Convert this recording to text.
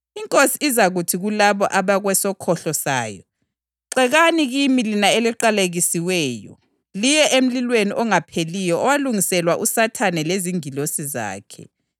INkosi izaphendula ithi, ‘Ngilitshela iqiniso ukuthi loba yini elayenzela loba ngomncinyane kanganani walaba abazalwane bami, lakwenzela mina.’